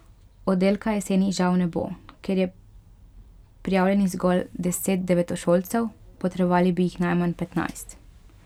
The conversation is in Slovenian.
Oddelka jeseni žal ne bo, ker je prijavljenih zgolj deset devetošolcev, potrebovali bi jih najmanj petnajst.